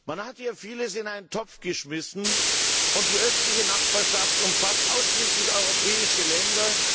Man hatte hier vieles in einen Topf geworfen, und die östliche Nachbarschaft umfasst ausschließlich europäische Länder.